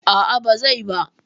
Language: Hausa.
A'a ba zai ba.